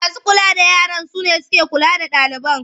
Masu kula da yaran su ke kula da ɗaliban.